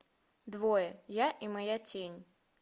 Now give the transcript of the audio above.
двое я и моя тень